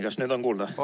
Kas nüüd on kuulda?